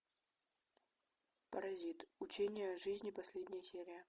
паразит учение о жизни последняя серия